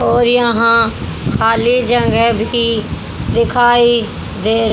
और यहां खाली जगह भी दिखाई दे--